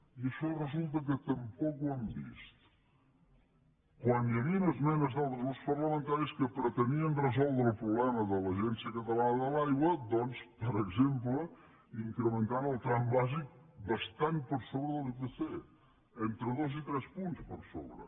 i això resulta que tampoc ho han vist quan hi havien esmenes d’altres grups parlamentaris que pretenien resoldre el problema de l’agència catalana de l’aigua doncs per exemple incrementant el tram bàsic bastant per sobre de l’ipc entre dos i tres punts per sobre